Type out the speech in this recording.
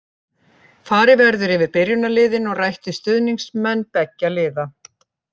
Farið verður yfir byrjunarliðin og rætt við stuðningsmenn beggja liða.